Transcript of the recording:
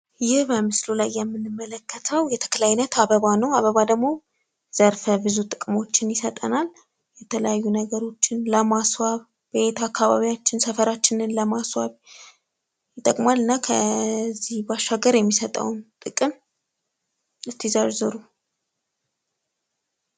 ይህ በምስሉ ላይ የምንመለከተው የተክል አይነት አበባ ነው። አበባ ደሞ ዘርፈ ብዙ ጥቅሞችን ይሰጠናል። የተለያዩ ነገሮችን ለማስዋብ አካባቢያችን ሰፈራችንን ለማስዋብ ይጥቅማል። እና ከዚህ ባሻገር የሚሰጠውን ጥቅም ዘርዝሩ።